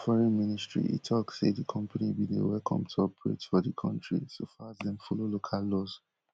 as for di foreign ministry e tok say di company bin dey welcome to operate for di kontri so far as dem follow local laws